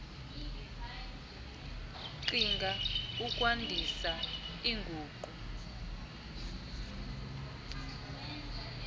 qhinga ukwandisa iinguqu